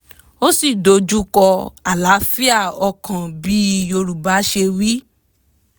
ó sì dojú kọ̀ àlàáfíà ọkàn bí yorùbá ṣe wí